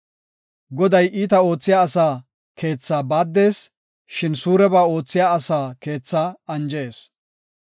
Goday iita oothiya asaa keethaa baaddees; shin suureba oothiya asaa keethaa anjees.